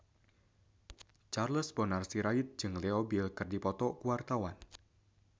Charles Bonar Sirait jeung Leo Bill keur dipoto ku wartawan